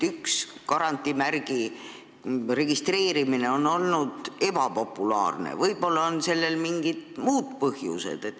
Kui garantiimärgi registreerimine on olnud ebapopulaarne, siis võib-olla on sellel mingid muud põhjused.